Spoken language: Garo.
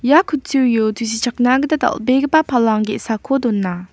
ia kutturio tusichakna gita dal·begipa palang ge·sako dona.